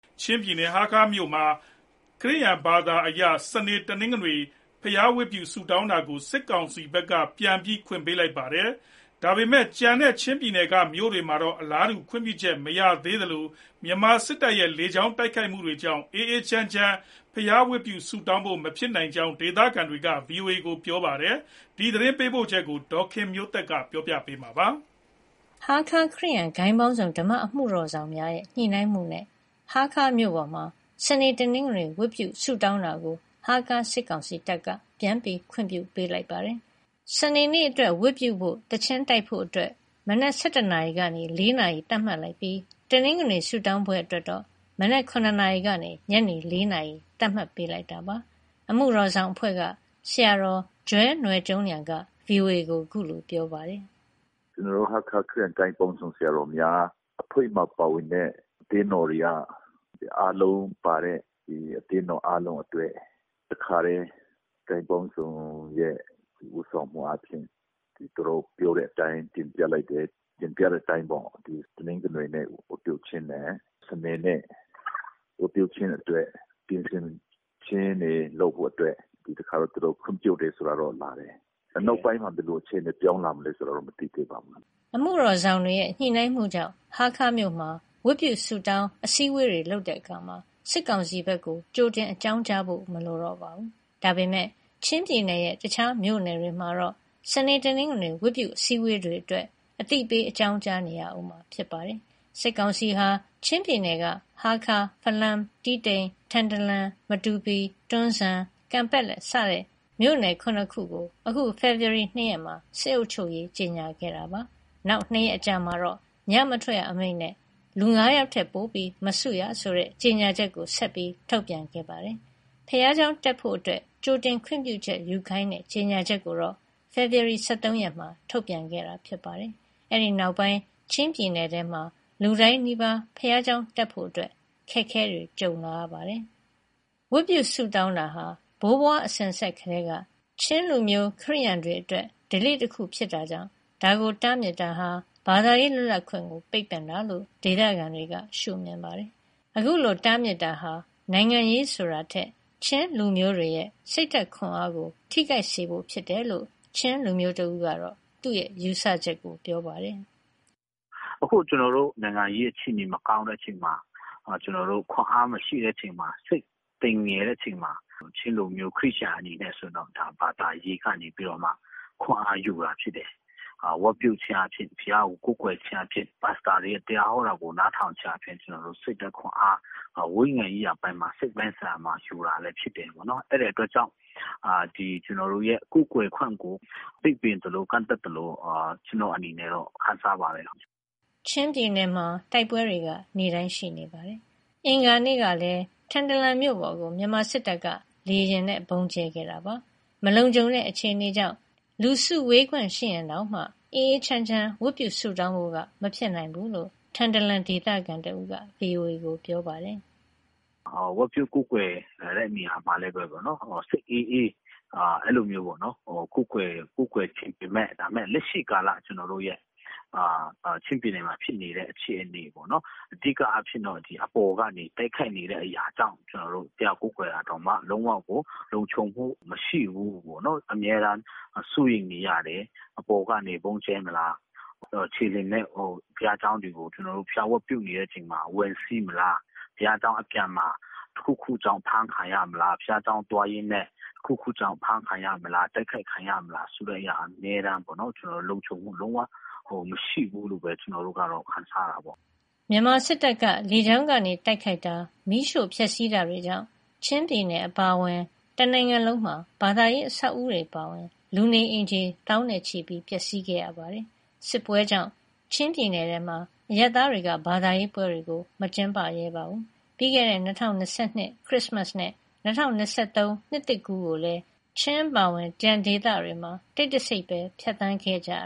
ချင်းပြည်နယ်၊ ဟားခါးမြို့ပေါ်မှာ ခရစ်ယာန်ဘာသာအရ စနေ၊ တနင်္ဂနွေ ဝတ်ပြုဆုတောင်းတာကို စစ်ကောင်စီဘက်က ပြန်ပြီးခွင့်ပြုပေးလိုက်ပါတယ်။ ဒါပေမဲ့ ကျန်တဲ့ချင်းပြည်နယ်က မြို့နယ်တွေမှာတော့ အလားတူ ခွင့်ပြုချက်မရသေးသလို မြန်မာစစ်တပ်ရဲ့ လေကြောင်းတိုက်ခိုက်မှုတွေကြောင့် အေးအေးချမ်းချမ်း ဝတ်ပြုဆုတောင်းဖို့ မဖြစ်နိုင်ကြောင်း ဒေသခံတွေက ဗွီအိုအေကို ပြောပါတယ်။ ဒီသတင်းပေးပို့ချက်ကို ဒေါ်ခင်မျိုးသက်က တင်ပြပေးထားပါတယ်။ ဟားခါးခရစ်ယာန် ဂိုဏ်းပေါင်းစုံ ဓမ္မအမှုတော်ဆောင်များရဲ့ ညှိနှိုင်းမှုနဲ့ ဟားခါးမြို့ပေါ်မှာ စနေ၊ တနင်္ဂနွေ ဝတ်ပြုဆုတောင်းတာကို ဟားခါးစစ်ကောင်စီတပ်က ပြန်ပြီး ခွင့်ပြုပေးလိုက်ပါတယ်။ စနေနေ့အတွက် ဝတ်ပြုဖို့၊ သီချင်းတိုက်ဖို့ မနက် ၁၁ နာရီကနေ ၄ နာရီ သတ်မှတ်လိုက်ပြီး တနင်္ဂနွေဆုတောင်းပွဲအတွက်တော့ မနက် ၇ နာရီကနေ ညနေ ၄ နာရီ သတ်မှတ်ပေးလိုက်တာပါ။ အမှုတော်ဆောင်အဖွဲ့က ဆရာတော် Joel Nawl Cung Lian က ဗွီအိုအေကို အခုလိုပြောပြပါတယ်။ "ကျနော်တို့ ဟားခါးခရစ်ယာန် ဂိုဏ်းပေါင်းစုံ ဆရာတော်များအဖွဲ့မှာပါဝင်တဲ့ အသင်းတော်တွေက အားလုံးပါတဲ့ အသင်းတော်အားလုံးအတွက် ဂိုဏ်းပေါင်းစုံရဲ့ ဦးဆောင်မှုအားဖြင့် သူတို့ပြောတဲ့အတိုင်း တင်ပြလိုက်တယ်။ တင်ပြတဲ့အတိုင်း တနင်္ဂနွေဝတ်ပြုခြင်းနဲ့ စနေနေ့ ဝတ်ပြုခြင်းအတွက် ပြင်ဆင်ခြင်းတွေလုပ်ဖို့ ဒီတခါတော့ သူတို့ခွင့်ပြုတယ်ဆိုတာ လာတယ်။ နောက်ပိုင်းမှာ ဘယ်လိုအခြေအနေ ပြောင်းလာမလဲ ကျနော်တို့ မသိသေးပါဘူး။" အမှုတော်ဆောင်တွေရဲ့ ညှိနှိုင်းမှုကြောင့် ဟားခါးမြို့မှာဝတ်ပြုဆုတောင်း၊ အစည်းအဝေးတွေလုပ်တဲ့အခါမှာ စစ်ကောင်စီဘက်ကို ကြိုတင်အကြောင်းကြားဖို့ မလိုတော့ပါဘူး။ ဒါပေမဲ့ ချင်းပြည်နယ်ရဲ့တခြားမြို့နယ်တွေမှာတော့ စနေ၊ တနင်္ဂနွေ ဝတ်ပြုအစည်းအဝေးတွေအတွက် အသိပေး အကြောင်းကြားနေရဦးမှာပါ။ စစ်ကောင်စီဟာ ချင်းပြည်နယ်က ဟားခါး၊ ဖလမ်း၊ တီးတိန်၊ ထန်တလန်၊ မတူပီ၊ တွန်းဇံ၊ ကန်ပက်လက် စတဲ့မြို့နယ် ၇ ခုကို အခုဖေဖော်ဝါရီ ၂ ရက်မှာ စစ်အုပ်ချုပ်ရေး ကြေညာခဲ့ပါတယ်။ နောက်၂ ရက်အကြာမှာ ညမထွက်ရအမိန့်နဲ့ လူငါးယောက်ထက် ပိုမစုရဆိုတဲ့ ကြေညာချက်ကို ဆက်ပြီးထုတ်ပြန်ခဲ့ပါတယ်။ ဘုရားကျောင်းတက်ဖို့ ကြိုတင်ခွင့်ပြုချက်ယူခိုင်းတဲ့ ကြေညာချက်ကိုတော့ ဖေဖော်ဝါရီလ ၁၃ ရက်မှ ထုတ်ပြန်ခဲ့တာပါ။ အဲဒီနောက်ပိုင်း ချင်းပြည်နယ်တွင်း လူတိုင်းနီးပါး ဘုရားကျောင်းတက်ဖို့ ခက်ခဲလာပါတယ်။ ဝတ်ပြုဆုတောင်းတာဟာ ဘိုးဘွားစဉ်ဆက်ကတည်းက ချင်းလူမျိုး၊ ခရစ်ယာန်တွေအတွက် ဓလေ့တခုဖြစ်လို့ ဒါကိုတားမြစ်တာဟာ ဘာသာရေးလွတ်လပ်ခွင့်ကို ပိတ်ပင်တာလို့ ဒေသခံတွေက ရှုမြင်ပါတယ်။ အခုလို တားမြစ်တာဟာ နိုင်ငံရေးဆိုတာထက် ချင်းလူမျိုးတွေရဲ့ စိတ်ဓါတ်ခွန်အားကိုထိခိုက်စေဖို့ဖြစ်တယ်လို့ ချင်းလူမျိုးတဦးကတော့ သူ့ယူဆချက်ပြောပါတယ်။ " အခု နိုင်ငံရေးအခြေအနေမကောင်းတဲ့အချိန်မှာ ကျနော်တို့ ခွန်အားမရှိတဲ့အချိန်မှာ စိတ်သိမ်ငယ်တဲ့အချိန်မှာ ချင်းလူမျိုး ခရစ်ယာန်တွေအတွက် ဘာသာရေးကနေ ခွန်အားယူတာဖြစ်တယ်။ ဝတ်ပြုခြင်း၊ ဘုရားကိုကိုးကွယ်ခြင်းအားဖြင့် ပါစတာတွေရဲ့ တရားဟောတာကို နားထောင်ခြင်းအားဖြင့် ဝိညာဉ်ရေးရာပိုင်းမှာ၊ စိတ်ပိုင်းဆိုင်ရာမှာ ယူတာလည်း ဖြစ်တယ်။ အဲဒီအတွက်ကြောင့် ကျနော်တို့ရဲ့ ကိုးကွယ်ခွင့်ကို ပိတ်ပင်သလို ကန့်သတ်သလို ကျနော့်အနေနဲ့ ခံစားရပါတယ်။" ချင်းပြည်နယ်မှာ တိုက်ပွဲတွေက နေ့တိုင်းရှိနေပါတယ်။ မနေ့က အင်္ဂါနေ့ကလည်း ထန်တလန်မြို့ပေါ်ကို မြန်မာစစ်တပ်က လေယာဉ်နဲ့ ဗုံးကြဲခဲ့ပါတယ်။ မလုံခြုံတဲ့ အခြေအနေကြောင့် လူစုလူဝေးခွင့်ရှိရင်တောင်မှ အေးအေးချမ်းချမ်း ဝတ်ပြုဆုတောင်းဖို့က မဖြစ်နိုင်ဘူးလို့ ထန်တလန် ဒေသခံတဦးက ဗွီအိုအေကို ပြောပါတယ်။ " ဝတ်ပြုကိုးကွယ်တာမှာ စိတ်အေးအေး ကိုးကွယ်ချင်ပေမဲ့ လက်ရှိကာလ ချင်းပြည်နယ်မှာ ဖြစ်နေတဲ့အခြေအနေ၊ အဓိကအားဖြင့် အပေါ်ကနေတိုက်ခိုက်နေတဲ့ အရာကြောင့် ဘုရားကိုးကွယ်တာတောင်မှ လုံးဝကိုလုံခြုံမှု မရှိဘူးပေါ့နော်။ အမြဲတမ်း စိုးရိမ်နေရတယ်။ အပေါ်ကနေ ဗုံးကြဲမလား၊ ခြေလျင်နဲ့ ဘုရားကျောင်းတွေကို ဝတ်ပြုနေချိန်မှာ ဝင်စီးမလား၊ ဘုရားကျောင်းအပြန်မှာ တခုခုကြောင့် အဖမ်းခံရမလား၊ ဘုရားကျောင်း သွားရင်းနဲ့ ဖမ်းခံရမလား၊ တိုက်ခိုက်ခံရမလားဆိုတဲ့အရာ အမြဲတမ်း လုံခြုံမှုမရှိဘူးလို့ ကျနော်တို့ကတော့ ခံစားရတာပေါ့။ မြန်မာစစ်တပ်က လေကြောင်းကနေ တိုက်ခိုက်တာ၊ မီးရှို့ဖျက်စီးတာတွေကြောင့် ချင်းပြည်နယ်အပါအဝင် တနိုင်ငံလုံးမှာ ဘာသာရေး အဆောက်အဦတွေအပါအဝင် လူနေအိမ်ခြေ သောင်းနဲ့ချီ ပျက်စီးခဲ့ပါတယ်။ စစ်ပွဲကြောင့် ချင်းပြည်နယ်မှာ အရပ်သားတွေက ဘာသာရေးပွဲတွေကို မကျင်းပရဲပါဘူး။ ပြီးခဲ့တဲ့ ၂၀၂၂ ခရစ်စမတ်နဲ့ ၂၀၂၃ နှစ်သစ်ကူးကိုလည်း ချင်းအပါအဝင် ကျန်ဒေသတွေမှာ တိတ်တဆိတ် ဖြစ်သန်းခဲ့ကြရ